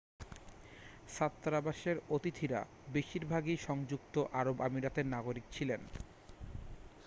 ছাত্রাবাসের অতিথিরা বেশিরভাগই সংযুক্ত আরব আমিরাতের নাগরিক ছিলেন